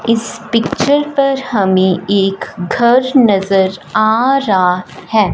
इस पिक्चर पर हमे एक घर नज़र आ रा है।